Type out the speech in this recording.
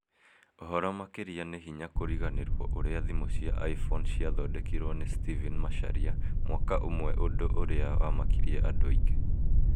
ũhoro makĩria nĩ hinya kũriganĩrwo ũrĩa thĩmũ cia iphone ciathodekirwo nĩ stephen macharia mwaka ũmwe ũndũ ũrĩa wamakirie andũ aingĩ